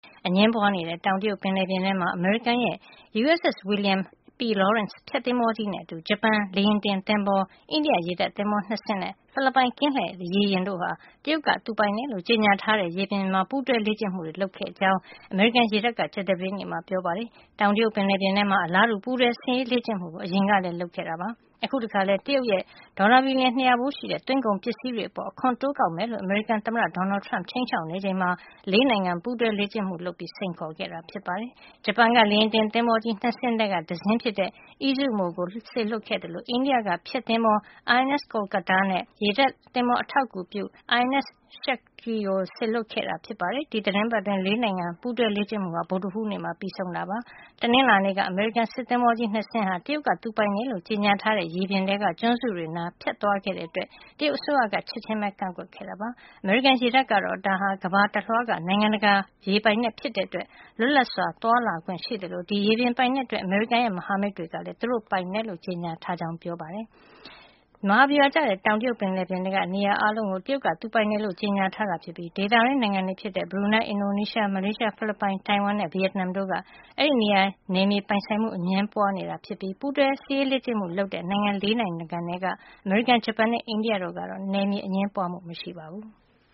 အငြင်းပွါးနေတဲ့ တောင်တရုတ်ပင်လယ်ပြင်ထဲမှာ အမေရိကန်ရဲ့ USS William P. Lawrence ဖျက်သင်္ဘောကြီးနဲ့အတူ ဂျပန်လေယာဉ်တင် သင်္ဘော၊ အိန္ဒိယရေတပ်သင်္ဘော ၂ စင်းနဲ့ ဖိလစ်ပိုင်ကင်းလှည့်ရေယာဉ်တို့ဟာ တရုတ်ကသူပိုင်တယ်လို့ ကြေညာထားတဲ့ရေပြင်မှာ ပူးတွဲလေ့ကျင့်မှုတွေ လုပ်ခဲ့တယ်လို့ အမေရိကန်ရေတပ်က ကြာသပတေးနေ့က ပြောပါတယ်။ တောင်တရုတ်ပင်လယ်ပြင်ထဲမှာ အလားတူ ပူးတွဲစစ်ရေးလေ့ကျင့်မှုကို အရင်ကလည်းလုပ်ခဲ့ဘူးပါတယ်။ အခုတခါလည်း တရုတ်ရဲ့ ဒေါ်လာ ဘီလျံ ၂၀၀ ဖိုးရှိတဲ့ သွင်းကုန်ပစ္စည်းတွေအပေါ် အခွန်တိုးကောက်မယ်လို့ အမေရိကန် သမ္မတ Donald Trump က ခြိမ်းခြောက်နေချိန်မှာ လေးနိုင်ငံပူးတွဲလေ့ကျင့်မှုလုပ်ပြီး စိန်ခေါ်ခဲ့တာ ဖြစ်ပါတယ်။ ဂျပန်က လေယာဉ်တင်သင်္ဘောကြီး ၂ စင်းထဲက တစင်းဖြစ်တဲ့ Izumo ကိုစေလွှတ်ခဲ့သလို အိန္ဒိယက ဖျက်သင်္ဘော INS Kolkata နဲ့ ရေတပ်အထောက်အကူပြုသင်္ဘော INS Shakti ကို စေလွှတ်ခဲ့တာပါ။ ဒီသီတင်းပတ်တွင်း ၄ နိုင်ငံ ပူးတွဲလေ့ကျင့်မှုဟာ ဗုဒ္ဓဟူးနေ့မှာ ပြီးဆုံးပါတယ်။ တနင်္လာနေ့ကတော့ အမေရိကန်စစ်သင်္ဘောကြီး ၂ စင်း ဟာ တရုတ်က သူပိုင်တယ်လို့ ကြေညာထားတဲ့ ရေပြင်ထဲက ကျွန်းစုတွေနားကို ဖြတ်သွားခဲ့တာကြောင့် တရုတ်အစိုးရက ချက်ချင်းပဲ ကန့်ကွက်ခဲ့တာပါ။ အမေရိကန်ရေတပ်ကတော့ ဒါဟာ ကမ္ဘာတလွှားက နိုင်ငံတကာရေပိုင်နက် ဖြစ်တဲ့အတွက် လွတ်လပ်စွာသွားလာခွင့် ရှိသလို ဒီရေပြင်ပိုင်နက်အတွက် အမေရိကန်ရဲ့ မဟာမိတ်တွေကလည်း သူတို့ ပိုင်နက်လို့ ကြေညာထားကြောင်း ပြောပါတယ်။ မဟာဗျူဟာကျတဲ့ တောင်တရုတ်ပင်လယ်ပြင်ထဲက နေရာ အားလုံးလိုလိုကို တရုတ်က သူပိုင်တယ်လို့ ကြေညာထားတာ ဖြစ်ပြီး ဒေသတွင်း နိုင်ငံတွေဖြစ်တဲ့ ဘရူနိုင်း၊ အင်ဒိုနီးရှား၊ မလေးရှား၊ ဖိလစ်ပိုင်၊ တိုင်ဝမ်နဲ့ ဗီယက်နမ်တို့နဲ့ အဲဒီနေရာမှာ နယ်မြေပိုင်ဆိုင်မှု အငြင်းပွါးနေတာဖြစ်ပြီး အခု ပူးတွဲစစ်ရေးလေ့ကျင့်မှု လုပ်တဲ့ ၄ နိုင်ငံထဲက အမေရိကန်၊ ဂျပန်နဲ့ အိန္ဒိယတို့နဲ့တော့ နယ်မြေအငြင်းပွါးမှု မရှိပါဘူး။